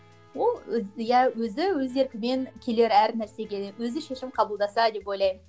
ол иә өзі өз еркімен келер әр нәрсеге өзі шешім қабылдаса деп ойлаймын